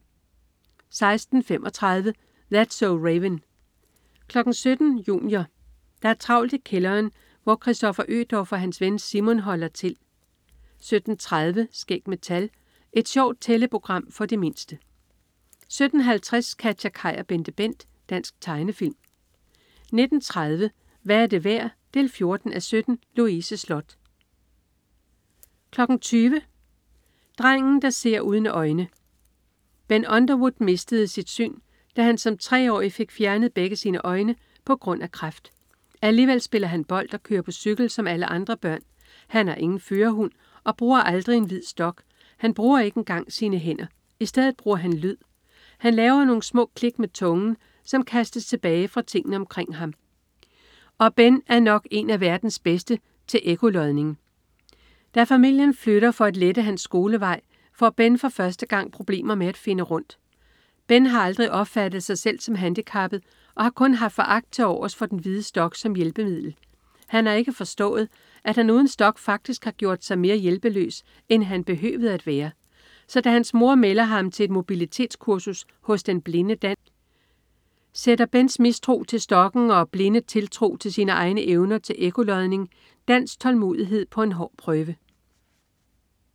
16.35 That's so Raven 17.00 Junior. Der er travlt i kælderen, hvor Kristoffer Ødorf og hans ven Simon holder til 17.30 Skæg med tal. Et sjovt tælleprogram for de mindste 17.50 KatjaKaj og BenteBent. Dansk tegnefilm 19.30 Hvad er det værd? 14:17. Louise Sloth 20.00 Drengen der ser uden øjne. Ben Underwood mistede sit syn, da han som treårig fik fjernet begge sine øjne på grund af kræft. Alligevel spiller han bold og kører på cykel som alle andre børn. Han har ingen førerhund og bruger aldrig en hvid stok. Han bruger ikke engang sine hænder. I stedet bruger han lyd. Han laver nogle små klik med tungen, som kastes tilbage fra tingene omkring ham, og Ben er nok en af verdens bedste til ekkolokation. Da familien flytter for at lette hans skolevej, får Ben for første gang problemer med at finde rundt. Ben har aldrig opfattet sig selv som handicappet og har kun haft foragt til overs for den hvide stok som hjælpemiddel. Han har ikke forstået, at han uden stok faktisk har gjort sig mere hjælpeløs, end han behøvede at være. Så da hans mor melder ham til et mobilitetskursus hos den blinde Dan, sætter Bens mistro til stokken og blinde tiltro til sine egne evner til ekkolokation, Dans tålmodighed på en hård prøve